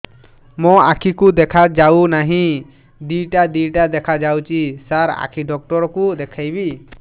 ମୋ ଆଖିକୁ ଦେଖା ଯାଉ ନାହିଁ ଦିଇଟା ଦିଇଟା ଦେଖା ଯାଉଛି ସାର୍ ଆଖି ଡକ୍ଟର କୁ ଦେଖାଇବି